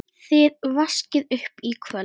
Þið vaskið upp í kvöld